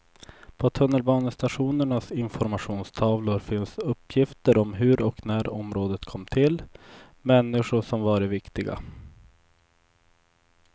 På tunnelbanestationernas informationstavlor finns uppgifter om hur och när området kom till, människor som varit viktiga.